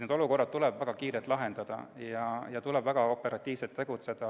Need olukorrad tuleb väga kiiresti lahendada ja tuleb väga operatiivselt tegutseda.